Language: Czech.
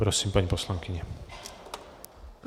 Prosím, paní poslankyně.